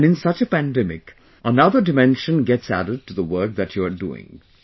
And in such a pandemic, another dimension gets added to the work that you are doing